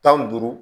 Tan ni duuru